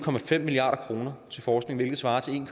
milliard kroner til forskning hvilket svarer til en